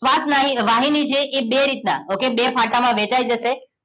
શ્વાસ વાહીની છે એ બે રીતના okay બે ફાંટામાં વહેંચાઈ જશે